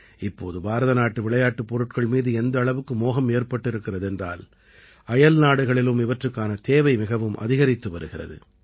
இப்போது பாரத நாட்டு விளையாட்டுப் பொருட்கள் மீது எந்த அளவுக்கு மோகம் ஏற்பட்டிருக்கிறது என்றால் அயல்நாடுகளிலும் இவற்றுக்கான தேவை மிகவும் அதிகரித்து வருகிறது